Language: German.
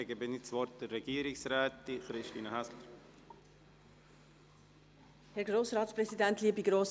Dann gebe ich das Wort der Regierungsrätin, Christine Häsler.